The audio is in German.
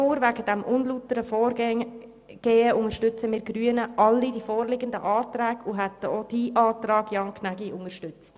Allein wegen des unlauteren Vorgehens unterstützen wir Grünen sämtliche vorliegenden Planungserklärungen, und wir hätten auch jene von Ihnen, Jan Gnägi, unterstützt.